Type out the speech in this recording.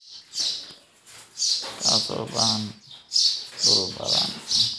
kaasoo u baahan dhul badan.